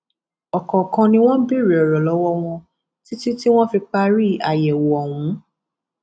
ọkọọkan ni wọn béèrè ọrọ lọwọ wọn títí tí wọn fi parí àyẹwò ọhún